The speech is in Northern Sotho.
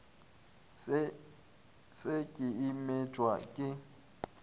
se ke a metšwa ke